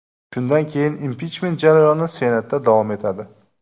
Shundan keyin impichment jarayoni Senatda davom etadi.